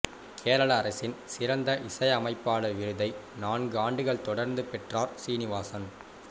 கேரள அரசின் சிறந்த இசை அமைப்பாளர் விருதை நான்கு ஆண்டுகள் தொடர்ந்து பெற்றார் சீனிவாசன்